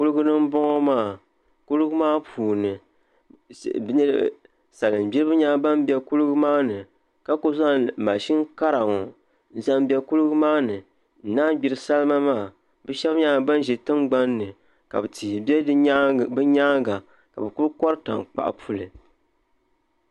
Kuligi n boŋo maa kuligi maa puuni salin gbiribi nyɛla ban bɛ kuligi maa ni ka ku zaŋ mashin kara ŋo n zaŋ bɛ kuligi maa ni n naan gbiri salima maa bi shab nyɛla ban ʒɛ tingbanni ka tihi bɛ bi nyaanga ka bi kuli kori tankpaɣu puli